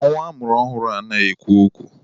Nwa amụrụ ọhụrụ anaghị ekwu okwu.